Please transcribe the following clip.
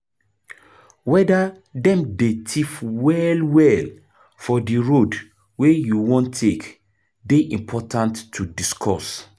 weda dem dey thief well well for di road wey you wan take dey important to discuss